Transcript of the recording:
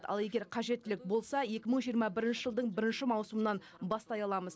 ал егер қажеттілік болса екі мың жиырма бірінші жылдың бірінші маусымынан бастай аламыз